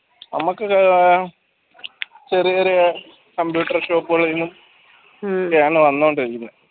നമുക്ക് ചെറിയ ചെറിയ computer shop കളിൽ നിന്നും ക്കെ ആണ് വന്നുകൊണ്ടിരിക്കുന്നത്